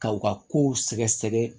K'aw ka kow sɛgɛsɛgɛ